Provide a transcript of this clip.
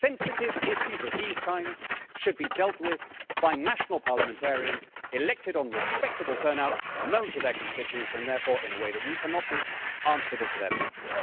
Sensitive issues of this kind should be dealt with by national parliamentarians elected on respectable turnouts, known to their constituents and therefore in a way that we cannot be answerable to their peoples.